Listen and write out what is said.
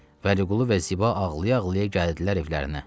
Vəliqulu və Ziba ağlaya-ağlaya gəldilər evlərinə.